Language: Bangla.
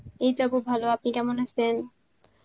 এইত খুব ভালো আপনি কেমন আসেন?